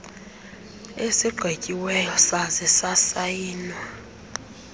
esigqityiweyo saze sasayinwa